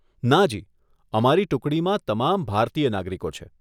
નાજી, અમારી ટુકડીમાં તમામ ભારતીય નાગરિકો છે.